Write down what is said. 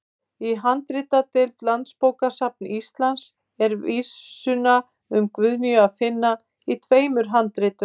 Í handritadeild Landsbókasafns Íslands er vísuna um Guðnýju að finna í tveimur handritum.